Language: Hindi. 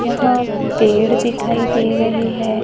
यहां पेड़ दिखाई दे रही है।